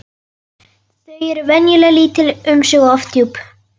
Þau eru venjulega lítil um sig og oft djúp.